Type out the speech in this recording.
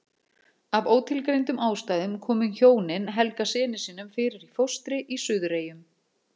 Af ótilgreindum ástæðum komu hjónin Helga syni sínum fyrir í fóstri í Suðureyjum.